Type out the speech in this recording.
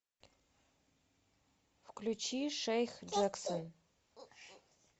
включи шейх джексон